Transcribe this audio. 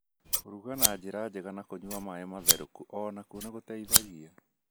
Kũruga na njĩra njega na kũnyua maaĩ matherũku o nakuo nĩ gũteithagia.